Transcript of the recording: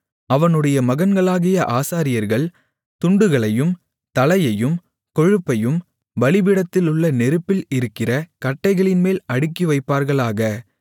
அவனுடைய மகன்களாகிய ஆசாரியர்கள் துண்டுகளையும் தலையையும் கொழுப்பையும் பலிபீடத்திலுள்ள நெருப்பில் இருக்கிற கட்டைகளின்மேல் அடுக்கிவைப்பார்களாக